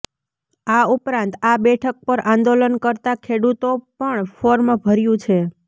આ ઉપરાંત આ બેઠક પર આંદોલન કર્તા ખેડૂતો પણ ફોર્મ ભર્યુ છે